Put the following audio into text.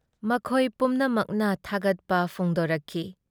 ꯃꯈꯣꯏ ꯄꯨꯝꯅꯃꯛꯅ ꯊꯥꯒꯠꯄ ꯐꯣꯡꯗꯣꯔꯛꯈꯤ ꯫